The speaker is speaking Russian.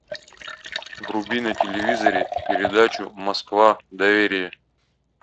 вруби на телевизоре передачу москва доверие